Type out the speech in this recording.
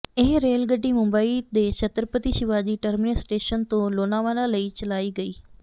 ਇਹ ਰੇਲ ਗੱਡੀ ਮੁੰਬਈ ਦੇ ਛਤਰਪਤੀ ਸ਼ਿਵਾਜੀ ਟਰਮੀਨਸ ਸਟੇਸ਼ਨ ਤੋਂ ਲੋਨਾਵਾਲਾ ਲਈ ਚਲਾਈ ਗਈ